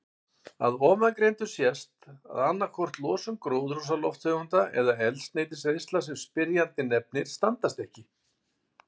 Af ofangreindu sést að annaðhvort losun gróðurhúsalofttegunda eða eldsneytiseyðslan sem spyrjandi nefnir standast ekki.